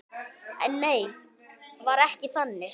En nei, var ekki þannig.